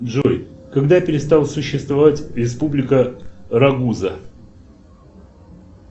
джой когда перестала существовать республика рагуза